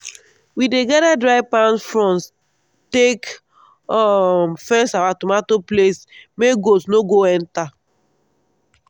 we dey gather dry palm fronds take um fence our tomato place make goat no go enter.